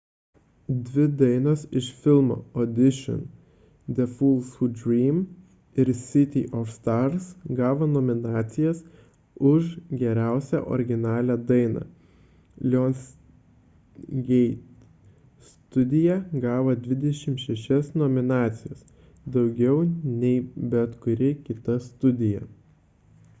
dvi dainos iš filmo audition the fools who dream ir city of stars gavo nominacijas už geriausią originalią dainą. lionsgate studija gavo 26 nominacijas – daugiau nei bet kuri kita studija